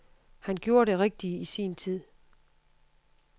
Han gjorde det rigtige i sin tid.